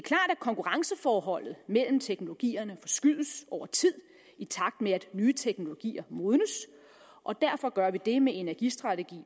at konkurrenceforholdet mellem teknologierne forskydes over tid i takt med at nye teknologier modnes og derfor gør vi det med energistrategi